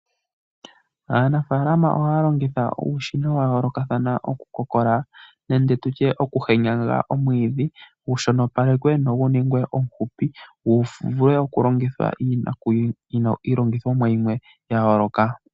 Aanafaalama ohaya longitha uushina wa yoolokathana okukokola nenge okuhenyaga omwiidhi, gu shonopale nogu ningwe omufupi gu vule okulongithwa iilonga yimwe ya yooloka.